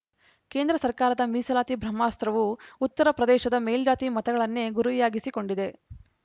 ಕೇಂದ್ರ ಸರ್ಕಾರದ ಮೀಸಲಾತಿ ಬ್ರಹ್ಮಾಸ್ತ್ರವು ಉತ್ತರಪ್ರದೇಶದ ಮೇಲ್ಜಾತಿ ಮತಗಳನ್ನೇ ಗುರಿಯಾಗಿಸಿಕೊಂಡಿದೆ